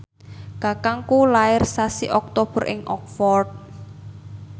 kakangku lair sasi Oktober ing Oxford